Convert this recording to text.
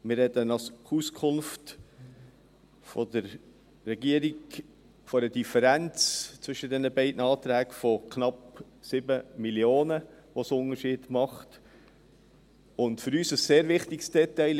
Wir sprechen nach Auskunft der Regierung von einer Differenz dieser beiden Anträge von knapp 7 Mio. Franken, um die sie sich unterscheiden.